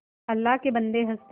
अल्लाह के बन्दे हंस दे